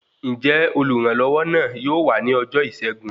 Njẹ oluranlowo náà yóò wá ní ọjọ Isẹgun?